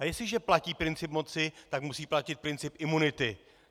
A jestliže platí princip moci, tak musí platit princip imunity!